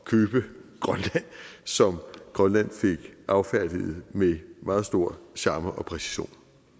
købe grønland som grønland fik affærdiget med meget stor charme og præcision